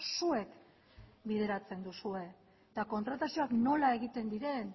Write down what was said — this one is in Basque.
zuek bideratzen duzue eta kontratazioak nola egiten diren